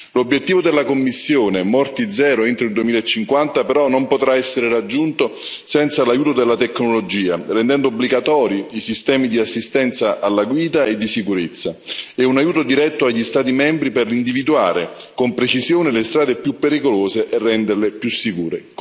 L'obiettivo della Commissione di zero morti entro il 2050 però, non potrà essere raggiunto senza l'aiuto della tecnologia, rendendo obbligatori i sistemi di assistenza alla guida e di sicurezza, e un aiuto diretto agli Stati membri per individuare con precisione le strade più pericolose e renderle più sicure.